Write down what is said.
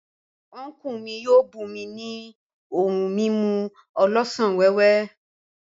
Unku mi yio bum mi ni ohun mimu olosan wewe.